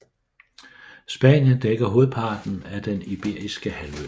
Spanien dækker hovedparten af Den Iberiske Halvø